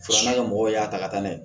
Filanan mɔgɔw y'a ta ka na ye